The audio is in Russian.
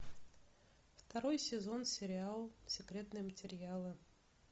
второй сезон сериал секретные материалы